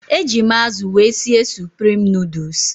Eji m azụ wee sie suprim nuduls.